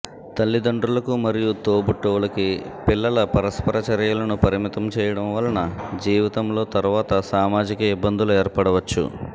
తల్లిదండ్రులకు మరియు తోబుట్టువులకి పిల్లల పరస్పర చర్యలను పరిమితం చేయడం వలన జీవితంలో తరువాత సామాజిక ఇబ్బందులు ఏర్పడవచ్చు